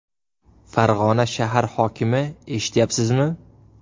Farg‘ona shahar hokimi eshityapsizmi?